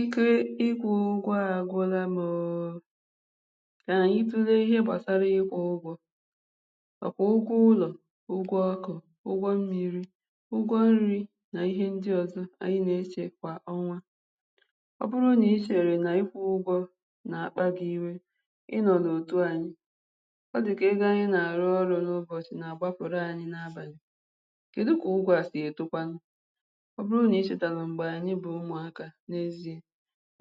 Ike ịkwụ̀ ụgwọ̀ agwụ̀là mụ̀ o o kà anyị̀ tulè ihè gbasarà ikwụ̀ ugwọ̀ ọ kwà ụgwọ̀ ụlọ̀ ụgwọ̀ ọkụ̀ ụgwọ̀ mmiri ụgwọ̀ nrì n’ihe ndị̀ ọzọ̀ anyị̀ na-echè kwà ọnwà ọ bụrụ̀ na-echerè n’ikwụ̀ ụgwọ̀ n’akpà gị̀ iwè ị nọ̀ n’otù anyị̀ ọ dịkà egō anyị̀ na-arụ̀ orụ̀ n’ụbọchị̀ na-akwapụ̀rụ̀ anyị̀ n’abalị̀ kedụ̀ kà ụgwọ̀ sì etokwànụ̀ ọ bụrụ̀ n’icheterè m̄gbè anyị̀ bụ̀ ụmụ̀ aka n’eziè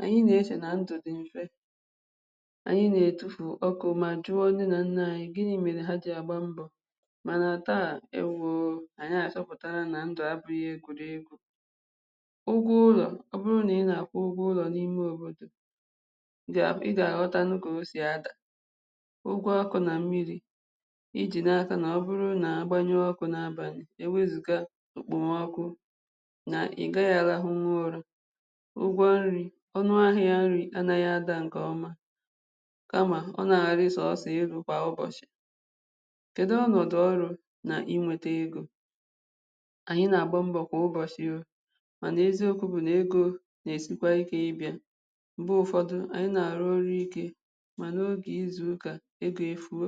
anyị̀ na-echè nà ndụ̀ dị̀ mfè anyị̀ na-etufù ọkụ̀ mà jụọ̀ nne nà nnà anyị̀ gịnị̀ merè hà jì agbà mbọ̀ mànà taa ewoo! anyị̀ achọ̀pụ̀tarà nà ndụ̀ abụ̀ghị̀ ụgwọ̀ ụlọ̀ ọ bụrụ̀ nà ị na-akwụ̀ ụgwọ̀ ụlọ̀ n’imè òbodò ị ga, ị ga-awọtànụ̀ kà o sì ada ụgwọ̀ ọkụ̀ nà mmiri ijì n’aka nà ọ bụrụ̀ na-agbanyụọ̀ ọkụ̀ n’abalị̀ ewezugà okpomọkụ̀ nà ị gaghị̀ arahụ̀nwù ụrà ụgwọ̀ nrì ọnụ̀ ahịà nrì anaghị̀ ada nkè ọmà, kàmà ọ na-arị̀ sọsọ̀ elù kwà ụbọchị̀ kedù ọnọdụ̀ ọrụ̀ nà inwetà egō, anyị̀ na-agbà mbọ̀ kwà ụbọchị̀ o o mànà eziokwu bụ̀ n’egō na-esikwà ike ịbịà m̄gbè ụfọdụ̀ anyị̀ na-arụ̀ ọrụ̀ ike mà n’ogè izù ukà, egō efuò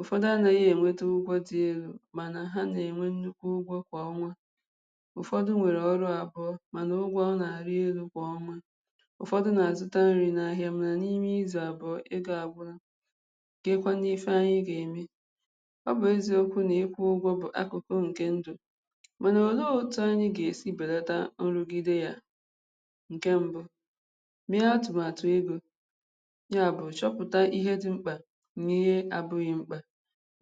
ụfọdụ̀ anaghị̀ enwetà ụgwọ̀ dị̀ elù mànà hà na-enwè nnukwù ụgwọ̀ kwà ọnwà ụfọdụ̀ nwerè ọrụ̀ abụọ̀ mànà ụgwọ̀ na-arị̀ elù kwà ọnwà ụfọdụ̀ na-azụ̀ tà nrì n’ahịà mànà imè izù abụọ̀ egō agwụ̀la, kee kwanụ̀ ifè anyị̀ ga-emè ọ bụ̀ eziokwù na-ikwụ̀ ụgwọ̀ bụ̀ akụkụ̀ nkè ndụ̀ mànà olè otù anyị̀ ga-esì belàtà nrùgidè yà nkè mbụ̀ mà ihe atụmatụ̀ egō yà bụ̀ chọpụtà ihe dị̀ m̄kpà mà ihe abụ̀ghị̀ m̄kpà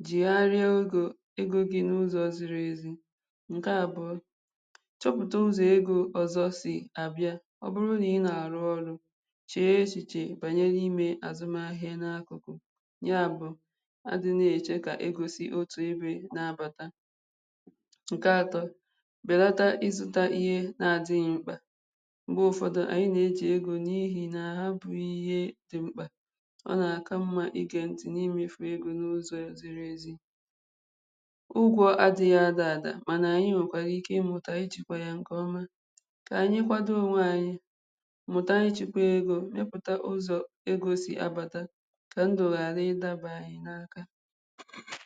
jegharịà ogò egō gì n’ụzọ̀ zirì ezì nkè abụọ̀ chọpụtà ụzọ̀ egō ọzọ̀ sì abịà ọ bụrụ̀ nà ị na-arụ̀ ọrụ̀ chee echichè banyè n’imè azụmà ahịà n’akụ̀kụ̀, yà bụ̀ a dị̀ na-echè kà egō sì otù ebe n’abàtà. Nkè atọ̀ belatà izụ̀tà ihe na-adịghị̀ m̄kpà m̄gbè ụfọdụ̀ anyị na-ejì egō n’ihì nà hà bụ̀ ihe dị̀ m̄kpà ọ na-aka mmà i gee ntị̀ n’imefù n’ụzọ̀ ezighì ụgwọ̀ adị̀ghị̀ ada adà mànà anyị̀ nwekwàrà ịmụtà yà ichekwà yà nkè ọmà kà anyị̀ kwadò onwè anyị̀ mụtà ichekwà egō, weputà ụzọ̀ egō sì abàtà kà ndụ̀ gharà ịdabà anyị̀ n’aka.